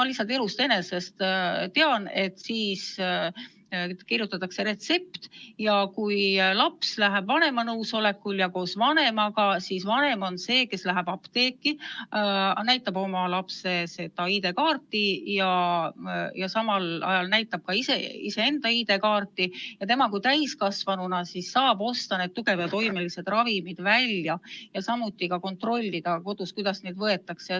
Ma lihtsalt elust enesest tean, et kui laps läheb pühhiaatri juurde vanema nõusolekul ja koos vanemaga, siis vanem on see, kes läheb apteeki, näitab oma lapse ID-kaarti ja ka iseenda ID-kaarti ning tema kui täiskasvanu saab siis osta need tugeva toimega ravimid välja ja samuti kodus kontrollida, kuidas neid võetakse.